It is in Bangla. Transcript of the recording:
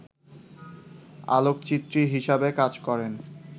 আলোকচিত্রী হিসেবে কাজ করেন